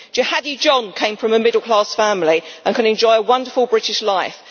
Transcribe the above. Jihadi John came from a middle class family and could enjoy a wonderful British life.